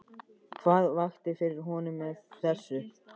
Hvað vakti fyrir honum með þessu?